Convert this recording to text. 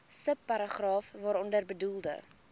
subparagraaf waaronder bedoelde